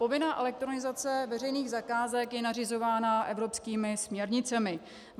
Povinná elektronizace veřejných zakázek je nařizována evropskými směrnicemi.